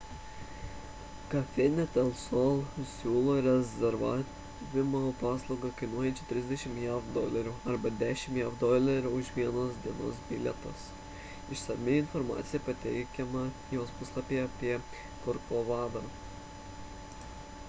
cafenet el sol siūlo rezervavimo paslaugą kainuojančią 30 jav dolerių arba 10 jav dolerių už vienos dienos bilietus išsami informacija pateikiama jos puslapyje apie korkovadą